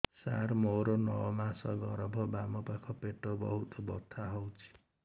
ସାର ମୋର ନଅ ମାସ ଗର୍ଭ ବାମପାଖ ପେଟ ବହୁତ ବଥା ହଉଚି